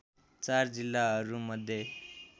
४ जिल्लाहरू मध्ये